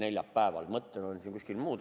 Neljapäev on ka, mõtted kuskil mujal.